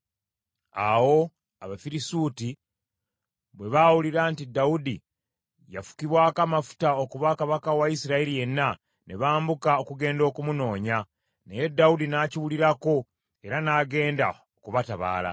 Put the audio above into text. Awo Abafirisuuti bwe baawulira nti Dawudi yafukibwako amafuta okuba kabaka wa Isirayiri yenna, ne bambuka okugenda okumunoonya, naye Dawudi n’akiwulirako era n’agenda okubatabaala.